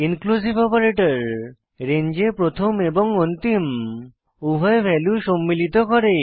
inclusive operator রেঞ্জে প্রথম এবং অন্তিম উভয় ভ্যালু সম্মিলিত করে